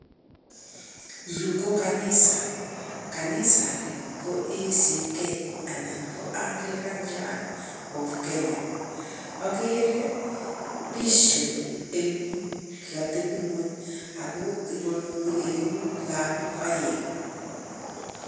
Yu ko kanisa. Kanisani ko ACK anan ko Anglican Church of Kenya. Ogere Bishop eng yu kotebi ng'wony ago ikonori eut lagok aeng'.